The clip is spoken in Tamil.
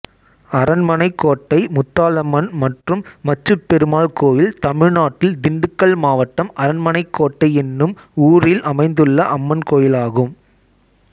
அரண்மனைக்கோட்டை முத்தலாம்மன் மற்றும் மச்சுப் பெருமாள் கோயில் தமிழ்நாட்டில் திண்டுக்கல் மாவட்டம் அரண்மனைக்கோட்டை என்னும் ஊரில் அமைந்துள்ள அம்மன் கோயிலாகும்